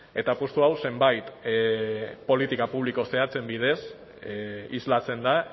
eta apustu hau zenbait politika publiko zehatzen bidez islatzen da